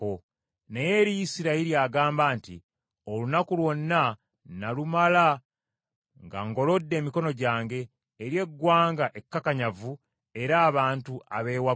Naye eri Isirayiri agamba nti, “Olunaku lwonna nalumala nga ngolodde emikono gyange eri eggwanga ekkakanyavu era abantu abeewaggula.”